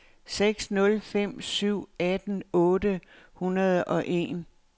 seks nul fem syv atten otte hundrede og en